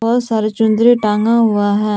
बहुत सारी चुन्दरी टांगा हुआ है।